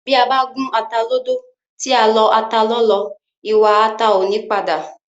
Bí a bá gún ata lódó, tí a lọ ata lọ́lọ́, ìwà ata ò ní padà